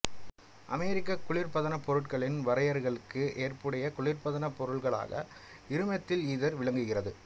அமெரிக்க குளிர்பதனப் பொருட்களின் வரையறைகளுக்கு ஏற்புடைய குளிர்பதனப் பொருளாக இருமெத்தில் ஈதர் விளங்குகிறது